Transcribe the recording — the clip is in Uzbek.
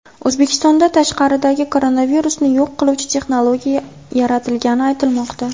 O‘zbekistonda tashqaridagi koronavirusni yo‘q qiluvchi texnologiya yaratilgani aytilmoqda .